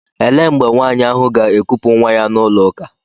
Ele mgbe nwaanyị ahụ ga-ekupu nwa ya n'ụlọ ụka?